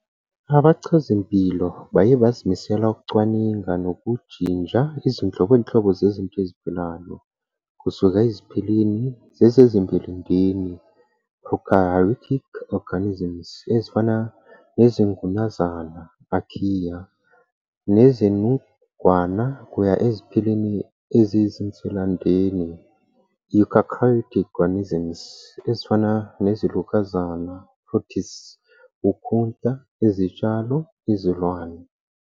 Abachazimpilo baye bazimisela ukucwaninga nokujinja izinhlobonhlobo zezinto eziphilayo, kusuka eziphilini zezimvelendeni ", prokaryotic organisms, ezifana nezingunazana ", archaea, nezinungwana kuya eziphilini eziyizinswelandeni ", eukaryotic organisms, ezifana nezilokazana ", protists, Ukhunta, Izitshalo, Izilwane.